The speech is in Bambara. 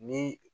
Ni